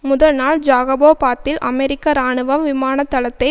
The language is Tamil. முதல் நாள் ஜாகபோபாத்தில் அமெரிக்க இராணுவம் விமான தளத்தை